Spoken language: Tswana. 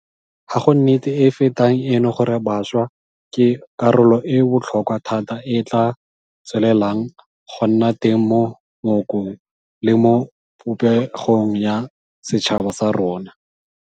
Ga go nnete e e fetang eno gore bašwa ke karolo e e botlhokwa thata e e tla tswelelang go nna teng mo mookong le mo popegong ya setšhaba sa rona.